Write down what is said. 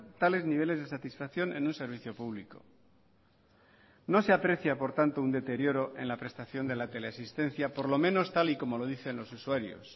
tales niveles de satisfacción en un servicio público no se aprecia por tanto un deterioro en la prestación de la teleasistencia por lo menos tal y como lo dicen los usuarios